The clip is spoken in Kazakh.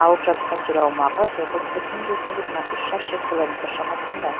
алып жатқан жер аумағы тоғыз бүтін жүзден жиырма үш шаршы километр шамасында